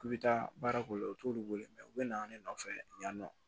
K'u bɛ taa baara k'u la u t'olu wele u bɛ na ne nɔfɛ yan nɔ